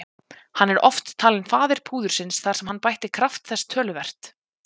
Hann er oft talinn faðir púðursins þar sem hann bætti kraft þess töluvert.